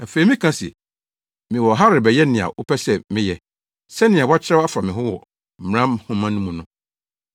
Afei mekae se, ‘Mewɔ ha rebɛyɛ nea wopɛ sɛ meyɛ sɛnea wɔakyerɛw afa me ho wɔ Mmara nhoma no mu no.’ ”